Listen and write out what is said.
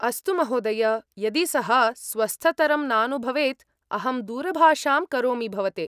अस्तु महोदय! यदि सः स्वस्थतरं नानुभवेत्, अहं दूरभाषां करोमि भवते।